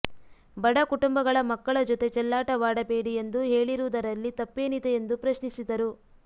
ಬಡಕುಟುಂಬಗಳ ಮಕ್ಕಳ ಜೊತೆ ಚೆಲ್ಲಾಟವಾಡಬೇಡಿ ಎಂದು ಹೇಳಿರುವುದರಲ್ಲಿ ತಪ್ಪೇನಿದೆ ಎಂದು ಪ್ರಶ್ನಿಸಿದರು